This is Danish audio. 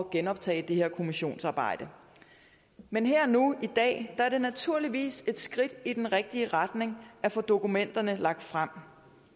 genoptage det her kommissionsarbejde men her og nu i dag er det naturligvis et skridt i den rigtige retning at få dokumenterne lagt frem